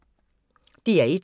DR1